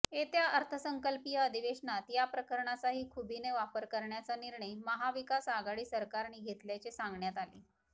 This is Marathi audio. येत्या अर्थसंकल्पीय अधिवेशनात या प्रकरणाचाही खुबीने वापर करण्याचा निर्णय महाविकास आघाडी सरकारने घेतल्याचे सांगण्यात आले